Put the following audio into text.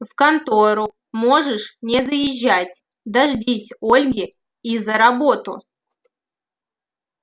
в контору можешь не заезжать дождись ольги и за работу